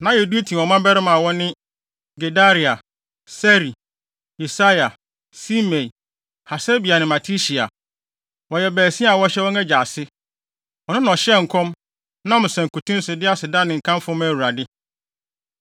Na Yedutun wɔ mmabarima a wɔne: Gedalia, Seri, Yesaia, Simei, Hasabia ne Matitia. Wɔyɛ baasia a wɔhyɛ wɔn agya ase. Ɔno na ɔhyɛɛ nkɔm, nam sankuten so de aseda ne nkamfo maa Awurade.